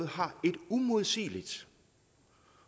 har en uimodsigelig